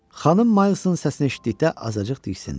Xanım Milesın səsini eşitdikdə azacıq diksindi.